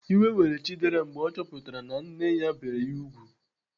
Iwe were Chidera mgbe ọ chọpụtara na nne ya bere ya ùgwù.